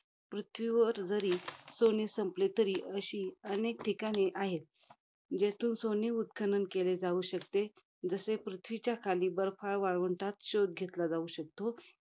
पृथ्वीवर जरी सोने संपले तरी, अशी अनेक ठिकाणे आहेत. ज्यातून सोने उत्खनन केले जाऊ शकते. जसे पृथ्वीच्या खाली बर्फाळ वाळवंटात शोध घेतला जाऊ शकतो,